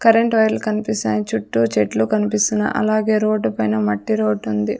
Current వైర్లు కనిపిస్తున్నాయి చుట్టూ చెట్లు కనిపిస్తున్నాయి అలాగే రోడ్డు పైన మట్టి రోడ్డు ఉంది.